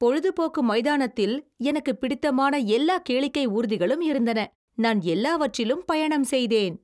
பொழுது போக்கு மைதானத்தில் எனக்கு பிடித்தமான எல்லா கேளிக்கை ஊர்திகளும் இருந்தன. நான் எல்லாவற்றிலும் பயணம் செய்தேன்.